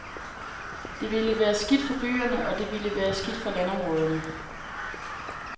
Det vil være skidt for byerne, og det vil være skidt for landområderne.